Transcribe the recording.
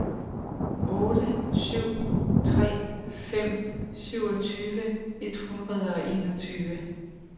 otte tre syv fem syvogtyve et hundrede og enogtyve